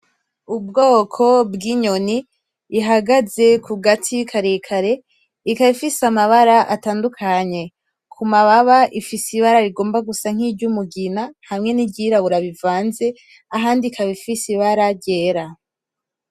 Ubwoko bw’inyoni, ihagaze ku gati karekare ikaba ifise amabara atandukanye. Ku mababa ifise ibara rigomba gusa nk’iry’umugina hamwe n’iryirabura bivanze, ahandi ikaba ifise ibara ryera.